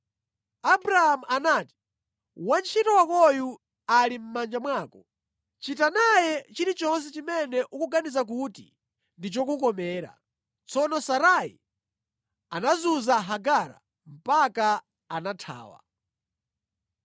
Abramu anati, “Wantchito wakoyu ali mʼmanja mwako. Chita naye chilichonse chimene ukuganiza kuti ndi chokukomera.” Tsono Sarai anazunza Hagara mpaka anathawa.